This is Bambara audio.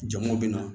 Jama bɛ na